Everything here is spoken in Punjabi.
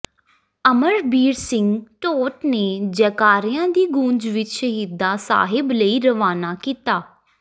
ਅਮਰਬੀਰ ਸਿੰਘ ਢੋਟ ਨੇ ਜੈਕਾਰਿਆਂ ਦੀ ਗੂੰਜ ਵਿੱਚ ਸ਼ਹੀਦਾਂ ਸਾਹਿਬ ਲਈ ਰਵਾਨਾ ਕੀਤਾ